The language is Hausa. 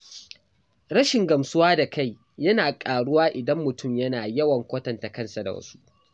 Rashin gamsuwa da kai yana ƙaruwa idan mutum yana yawan kwatanta kansa da wasu.